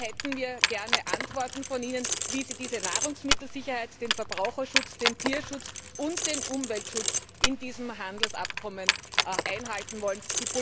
Hier hätten wir gerne von Ihnen Antworten, wie Sie diese Nahrungsmittelsicherheit, den Verbraucherschutz, den Tierschutz und den Umweltschutz in diesem Handelsabkommen einhalten wollen.